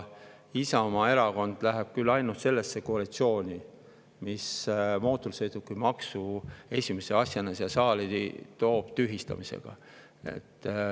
Isamaa Erakond läheb küll ainult sellesse koalitsiooni, mis mootorsõidukimaksu tühistamise esimese asjana siia saali toob.